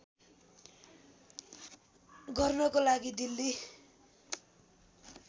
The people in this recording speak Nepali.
गर्नको लागि दिल्ली